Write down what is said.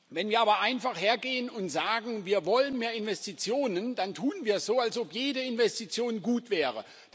Wenn wir aber einfach hergehen und sagen Wir wollen mehr Investitionen, dann tun wir so, als ob jede Investition gut wäre.